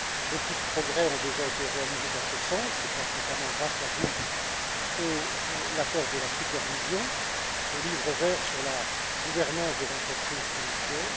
Beaucoup de progrès ont déjà été réalisés dans ce sens, notamment grâce à vous. Je pense à l'accord de la supervision et au livre vert sur la gouvernance des entreprises financières.